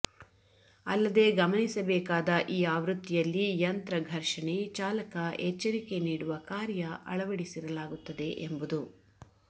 ಅಲ್ಲದೆ ಗಮನಿಸಬೇಕಾದ ಈ ಆವೃತ್ತಿಯಲ್ಲಿ ಯಂತ್ರ ಘರ್ಷಣೆ ಚಾಲಕ ಎಚ್ಚರಿಕೆ ನೀಡುವ ಕಾರ್ಯ ಅಳವಡಿಸಿರಲಾಗುತ್ತದೆ ಎಂಬುದು